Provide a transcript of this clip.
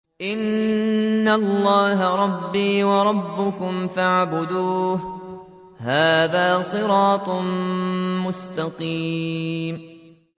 إِنَّ اللَّهَ رَبِّي وَرَبُّكُمْ فَاعْبُدُوهُ ۗ هَٰذَا صِرَاطٌ مُّسْتَقِيمٌ